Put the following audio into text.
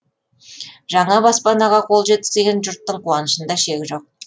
жаңа баспанаға қол жеткізген жұрттың қуанышында шек жоқ